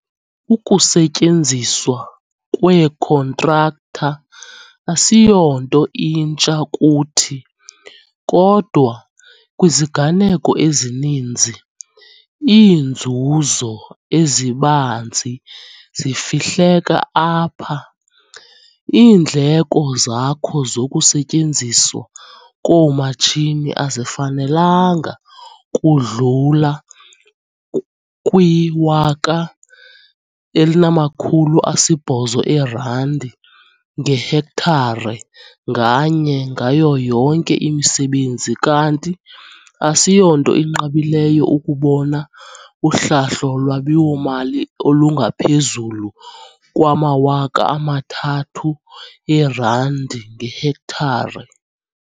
Ukusetyenziswa kweekhontraktha asiyonto intsha kuthi, kodwa kwiziganeko ezininzi, "iinzuzo ezibanzi" zifihleka apha. Iindleko zakho zokusetyenziswa koomatshini azifanelanga kudlula kwiR1 800 ngehektare nganye ngayo yonke imisebenzi kanti asiyonto inqabileyo ukubona uhlahlo lwabiwo-mali olungaphezu kweR3 000 ngehektare.